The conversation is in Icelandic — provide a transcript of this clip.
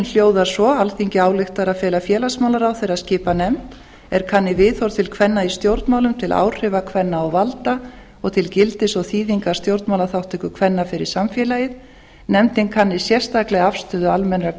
hljóðar svo alþingi ályktar að fela félagsmálaráðherra að skipa nefnd er kanni viðhorf til kvenna í stjórnmálum til áhrifa kvenna og valda og til gildis og þýðingar stjórnmálaþátttöku kvenna fyrir samfélagið nefndin kanni sérstaklega afstöðu almennra